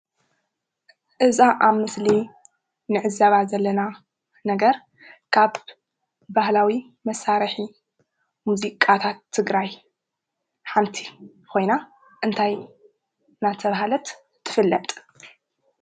እዛ ኣብ ምስሊ እንዕዘባ ዘለና ነገር ካብ ባህላዊ መሳርሒ ሙዚቃታት ትግራይ ሓንቲ ኮይና እንታይ እናተብሃለት ትፍለጥ?